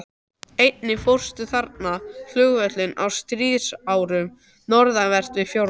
Einnig fórst þarna flugvél á stríðsárunum, norðanvert við fjörðinn.